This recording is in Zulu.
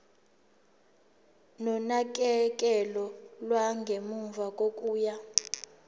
nonakekelo lwangemuva kokuya